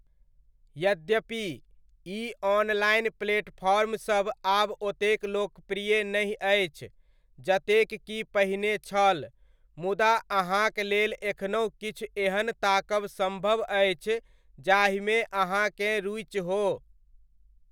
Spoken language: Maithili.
यद्यपि, ई ऑनलाइन प्लेटफ़ॉर्मसभ आब ओतेक लोकप्रिय नहि अछि जतेक कि पहिने छल, मुदा अहाँक लेल एखनहुँ किछु एहन ताकब सम्भव अछि जाहिमे अहाँकेँ रुचि हो।